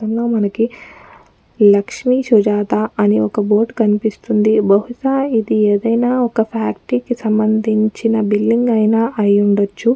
చిత్రంలో మనకి లక్ష్మీసుజాత అని ఒక్క బోర్డ్ కనిపిస్తుంది బహుశ ఇది ఏదైనా ఒక్క ఫ్యాక్టరీ కి సంబంధించిన బిల్డింగ్ అయ్యిన అయ్యుండచ్చు.